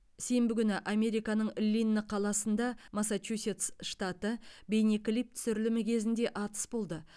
сенбі күні американың линн қаласында массачусетс штаты бейнеклип түсірілімі кезінде атыс болды